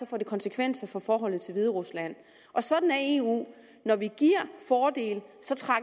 få konsekvenser for forholdet til hviderusland og sådan er eu vi giver fordele